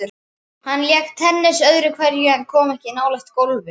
Hann lék tennis öðru hverju en kom ekki nálægt golfi.